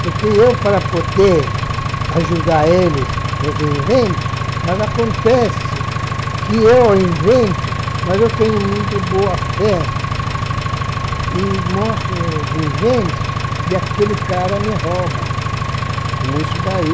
Porque eu, para poder ajudar eles nos inventos, mas acontece que eu invento, mas eu tenho muito boa fé e mostro os inventos e aquele cara me rouba, como isso daí.